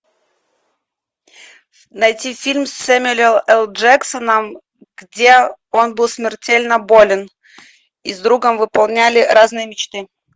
найти фильм с сэмюэл л джексоном где он был смертельно болен и с другом выполняли разные мечты